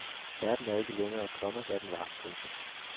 Verden er ikke længere, komma hvad den var. punktum